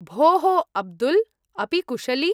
भोः अब्दुल्, अपि कुशली?